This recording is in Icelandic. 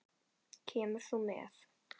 Kemur þú með?